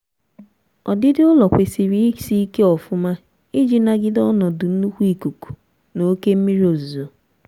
ọdịdị ụlọ kwesịrị isị ike ofuma iji nagide ọnọdụ nnkwu ikuku na oke mmiri ozuzo